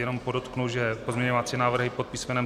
Jenom podotknu, že pozměňovací návrhy pod písm.